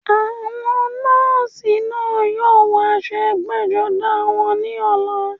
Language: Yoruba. Àwọn nọ́ọ̀sì náà yóò wọ aṣọ ẹgbẹ́-jọdá wọn ní ọ̀la.